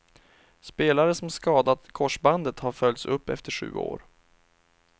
Spelare som skadat korsbandet har följts upp efter sju år.